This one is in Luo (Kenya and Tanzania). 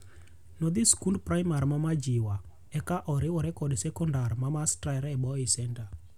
Nodhi skund primar mar Majiwa eka oriwore kod sekondar ma Starehe Boys' Centre.